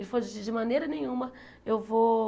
Ele falou, de de maneira nenhuma eu vou